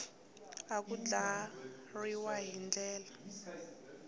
na ku andlariwa hi ndlela